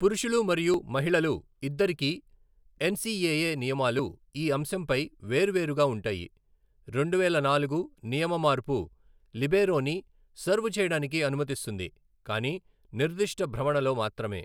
పురుషులు మరియు మహిళలు ఇద్దరికీ ఎన్సిఏఏ నియమాలు ఈ అంశంపై వేర్వేరుగా ఉంటాయి, రెండువేల నాలుగు నియమ మార్పు లిబేరోని సర్వ్ చేయడానికి అనుమతిస్తుంది, కానీ నిర్దిష్ట భ్రమణలో మాత్రమే.